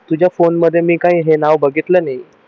तुझ्या फोन मध्ये मी काय हे नाव बघितलं नाही